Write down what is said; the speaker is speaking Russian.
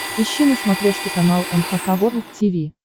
ищи на смотрешке канал эн эйч кей волд ти ви